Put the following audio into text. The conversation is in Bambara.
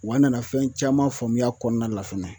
Wa nana fɛn caman faamuya kɔnɔna la fɛnɛ